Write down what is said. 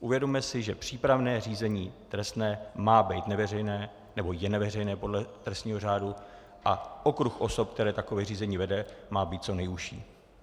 Uvědomme si, že přípravné řízení trestní má být neveřejné, nebo je neveřejné podle trestního řádu, a okruh osob, který takové řízení vede, má být co nejužší.